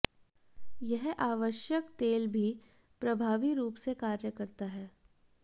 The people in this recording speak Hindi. यह आवश्यक तेल भी प्रभावी रूप से कार्य करता है